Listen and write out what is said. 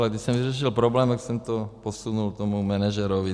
A když jsem vyřešil problém, tak jsem to posunul tomu manažerovi.